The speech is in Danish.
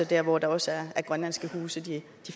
der hvor der også er grønlandske huse i de